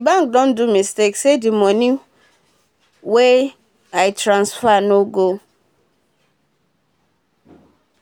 d bank don do mistake say d moni wey moni wey i transfer nor go